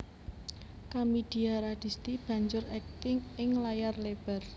Kamidia Radisti banjur akting ing layar lebar